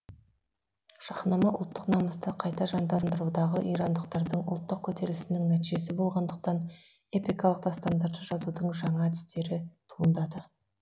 шахнама ұлттық намысты қайта жандандырудағы ирандықтардың ұлттық көтерілісінің нәтижесі болғандықтан эпикалық дастандарды жазудың жаңа әдістері туындады